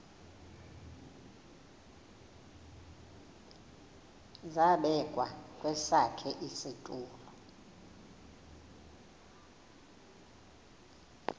zabekwa kwesakhe isitulo